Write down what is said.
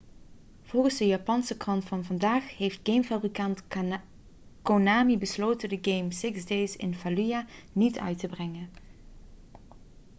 volgens een japanse krant van vandaag heeft gamefabrikant konami besloten de game six days in fallujah niet uit te brengen